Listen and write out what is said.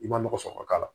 I ma nɔgɔ sɔrɔ ka k'a la